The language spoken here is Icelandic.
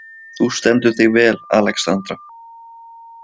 Þú stendur þig vel, Alexandra!